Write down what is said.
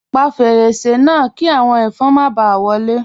Pa fẹ́rẹ̀sẹ̀ náà, kí awọn ẹfọn má bá wọlé.